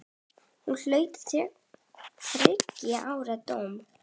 Hún hlaut þriggja ára dóm.